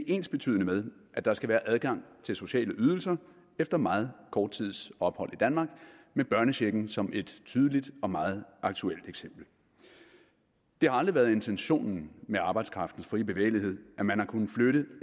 ensbetydende med at der skal være adgang til sociale ydelser efter meget kort tids ophold i danmark med børnechecken som et tydeligt og meget aktuelt eksempel det har aldrig været intentionen med arbejdskraftens frie bevægelighed at man har kunnet flytte